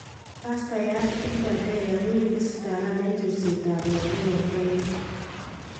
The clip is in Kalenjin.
Baastayaat Gilbert Deya kokakistaakan en chorseetab lakook en Kenya